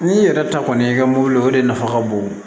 N'i yɛrɛ ta kɔni y'i ka mobili o de nafa ka bon